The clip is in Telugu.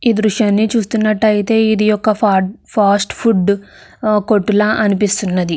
ఈ దృశ్యాన్ని చూస్తునట్టు అయితే ఇది ఒక ఫడ్ ఫాస్ట్ ఫుడ్ ఆ కొట్టులా అనిపిస్తున్నది.